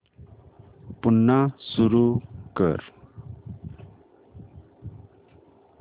पुन्हा सुरू कर